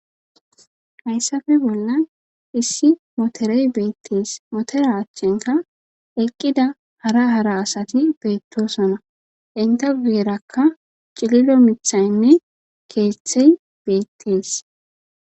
hayssafe bolla issi motorey beettees motera achchenka eqqida hara hara asati beettosona inte guerakka cililo mithaynne keeththey beettees